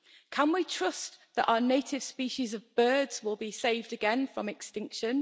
Can we trust that our native species of birds will be saved again from extinction?